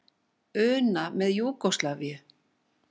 una með Júgóslavíu.